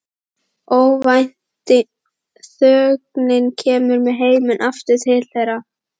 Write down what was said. Óvænt þögnin kemur með heiminn aftur til þeirra.